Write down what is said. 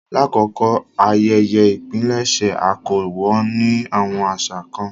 Làkókó ayẹyẹ ìpilẹ̀ṣẹ̀, a kọ wọn ni awọn aṣa kan.